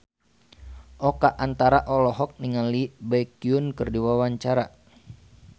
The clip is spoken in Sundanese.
Oka Antara olohok ningali Baekhyun keur diwawancara